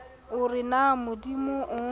o re na modimo o